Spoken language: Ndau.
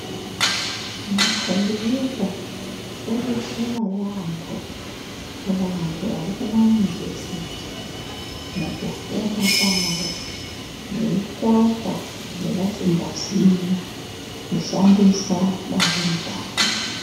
Ma kombiyuta odetsera yambo ku vantu vari kuma yunivhesiti muku funda kwavo vei tsvaka zva vasinga ziii ku shandisa dande mutande.